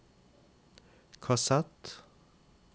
kassett